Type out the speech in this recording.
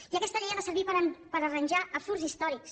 i aquesta llei ha de servir per arranjar absurds històrics